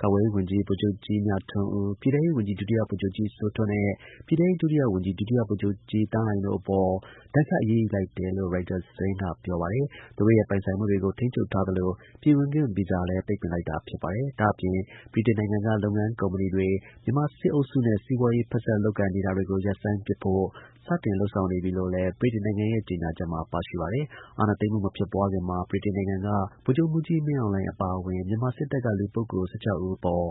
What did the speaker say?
ကာကွယ်ရေး ဝန်ကြီး ဗိုလ်ချုပ်ကြီး မြထွန်းဦး၊ ပြည်ထဲရေးဝန်ကြီး ဒုတိယ ဗိုလ်ချုပ်ကြီး စိုးထွဋ်နဲ့ ပြည်ထဲရေး ဒုတိယ ဝန်ကြီး ဒုတိယ ဗိုလ်ချုပ်ကြီး သန်းလှိုင်တို့ အပေါ် ဒဏ်ခတ် အရေးယူလိုက်တယ်လို့ ရိုက်တာ သတင်းက ပြောပါတယ်။ သူတို့ရဲ့ ပိုင်ဆိုင်မှုတွေကို ထိန်းချုပ်လိုက်သလို ပြည်ဝင်ခွင့် ဗီဇာလည်း ပိတ်ပင်လိုက်တာပါ။ ဒါ့အပြင်၊ ဗြိတိန်နိုင်ငံက လုပ်ငန်း ကုမ္ပဏီတွေ မြန်မာ စစ်အုပ်စုနဲ့ စီးပွားရေး ဖက်စပ် လုပ်ကိုင်တာတွေကို ရပ်ဆိုင်းပစ်ဖို့ စတင် လုပ်ဆောင်နေပြီလို့လည်း ဗြိတိန်နိုင်ငံရဲ့ ကြေညာချက်မှာ ပါရှိပါတယ်။ အာဏာသိမ်းမှု မဖြစ်ပွားခင်မှာ ဗြိတိန်နိုင်ငံက ဗိုလ်ချုပ်မှူးကြီး မင်းအောင်လှိုင် အပါအဝင် မြန်မာစစ်တပ်က လူပုဂ္ဂိုလ် ၁၆ ဦးအပေါ်